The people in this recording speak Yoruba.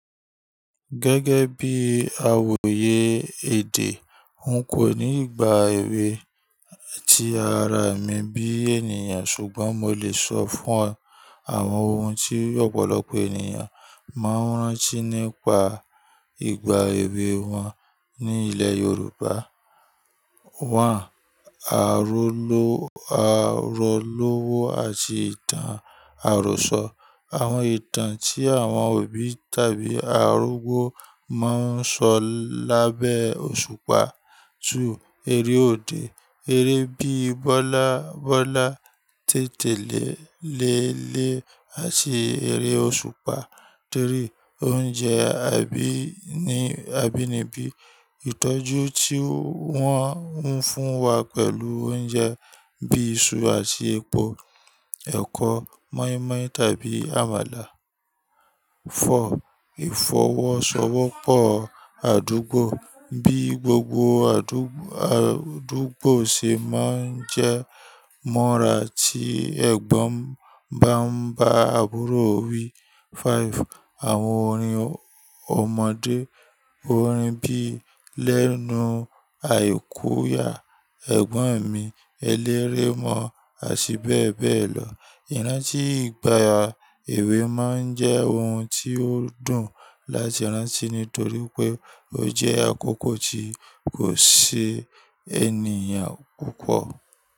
Gẹ́gẹ́ bí awòye èdè, n kò ní ìgbà èwe tí ara mi bí ènìyàn, ṣùgbọ́n mo lè sọ fún ẹ àwọn ohun tí ọ̀pọ̀lọpọ̀ ènìyàn máa ń rántí nípa ìgbà èwe wọn ní ilẹ̀ Yorùbá. Àróló, àròlówo àti ìtàn àròsọ. Àwọn ìtàn tí àwọn òbí tàbí arúgbó máa ń sọ lábẹ́ òṣùpá. Eré òde. Eré bíi bọ́lábọ́lá, tètèlé léle àti eré òṣùpá. Oúnjẹ abínibí. Ìtọ́jú tí wọ́n ń fún wa pẹ̀lú oúnjẹ bí i iṣu àti epo, ẹ̀kọ, mọ́ínmọ́́ìn tàbí àmàlà. Ìfọwọ́sowọ́pọ̀ àdúgbò. Bí gbogbo àdúgbò ṣe máa ń jẹ́ mọ́ra tí ẹ̀gbọ́n bá ń bá àbúrò wí. Àwọn orin ọmọdé. Orin bí i lẹ́nu àyíkúyà, ẹ̀gbọ́n mi, ẹlẹ́ré mọ́, àti bẹ́ẹ̀ bẹ́ẹ̀ lọ̀. Ìrántí ìgbà èwè máa ń jẹ́ ohun tí ó dùn láti rántí nítorí pé ó jẹ́ àkókò tí kò sí ènìyàn púpọ̀